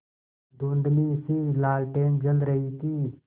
धुँधलीसी लालटेन जल रही थी